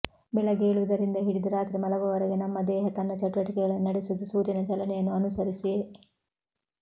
ಬೆಳಗ್ಗೆ ಏಳುವುದರಿಂದ ಹಿಡಿದು ರಾತ್ರಿ ಮಲಗುವವರೆಗೆ ನಮ್ಮ ದೇಹ ತನ್ನ ಚಟುವಟಿಕೆಗಳನ್ನು ನಡೆಸುವುದು ಸೂರ್ಯನ ಚಲನೆಯನ್ನು ಅನುಸರಿಸಿಯೇ